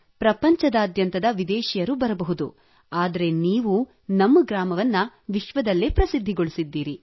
ಪ್ರಪಂಚದಾದ್ಯಂತದ ವಿದೇಶಿಯರು ಬರಬಹುದು ಆದರೆ ನೀವು ನಮ್ಮ ಗ್ರಾಮವನ್ನು ವಿಶ್ವದಲ್ಲೇ ಪ್ರಸಿದ್ಧಿಗೊಳಿಸಿದ್ದೀರಿ